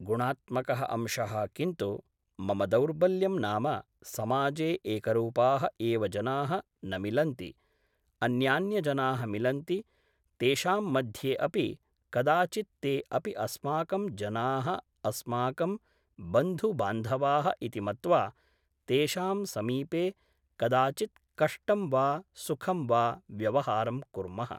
गुणात्मकः अंशः किन्तु मम दौर्बल्यं नाम समाजे एकरूपाः एव जनाः न मिलन्ति अन्यान्यजनाः मिलन्ति तेषां मध्ये अपि कदाचित् ते अपि अस्माकं जनाः अस्माकं बन्धुबान्धवाः इति मत्वा तेषां समीपे कदाचित् कष्टं वा सुखं वा व्यवहारं कुर्मः